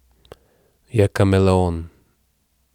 Je kameleon.